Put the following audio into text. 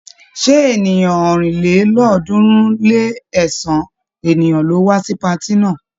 Ṣé ènìyàn ọ̀rìnlélọ́ọ̀ọ́dúnrún-lé-ẹ̀sán ènìyàn ló wá sí patí náà?